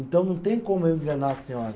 Então, não tem como eu enganar a senhora.